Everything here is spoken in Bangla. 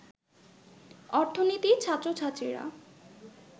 অর্থনীতির ছাত্রছাত্রীরা